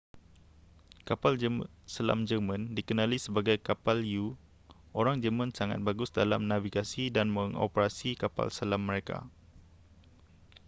kapal selam jerman dikenali sebagai kapal u orang jerman sangat bagus dalam navigasi dan mengoperasi kapal selam mereka